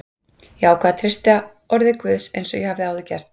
Ég ákvað að treysta orði Guðs eins og ég hafði áður gert.